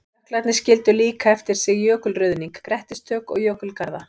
Jöklarnir skildu líka eftir sig jökulruðning, grettistök og jökulgarða.